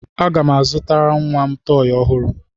Aga m azụtara nwa m tọọyị ọhụrụ.